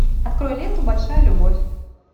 открой ленту большая любовь